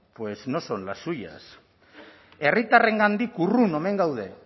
pues no son las suyas herritarrengandik urrun omen gaude